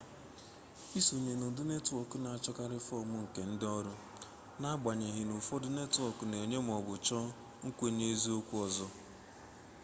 isonye n'ụdị netwọọk na-achọkarị fọm nke ndịnọrụ na-agbanyeghị n'ụfọdụ netwọọk na-enye maọbụ chọọ nkwenyeeziokwu ọzọ